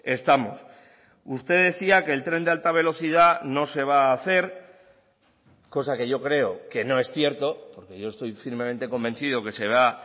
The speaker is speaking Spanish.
estamos usted decía que el tren de alta velocidad no se va a hacer cosa que yo creo que no es cierto porque yo estoy firmemente convencido que se va